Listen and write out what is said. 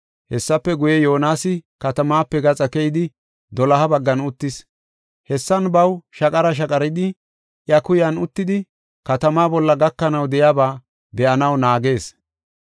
Hessafe guye, Yoonasi katamaape gaxa keyidi doloha baggan uttis. Hessan baw shaqara shaqaridi I kuyan uttidi katama bolla gakanaw de7iyaba ba7anaw naagees.